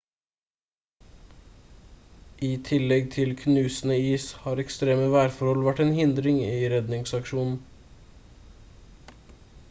i tillegg til knusende is har ekstreme værforhold vært en hindring i redningsaksjonen